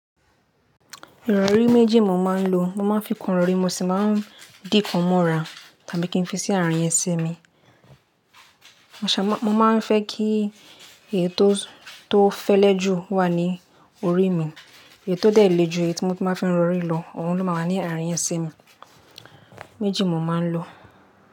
Ìrọ̀rí méjì mo máa ń lo. Mo máa ń fi kan rọ̀rí, mo sì máa ń dí kan mọ́ra tàbí kí n fi sí àárín ẹsẹ̀ mi. Mo ṣa, mo máa ń fẹ́ kí èyí tó, tó fẹ́lẹ́ jù wà ní orí mi. Èyí tó dẹ̀ lé jù èyí tí mo má fi ń rọ̀rí lọ, òun ló máa wà ní àárín ẹsẹ mi. Méjì ni mo máa ń lò.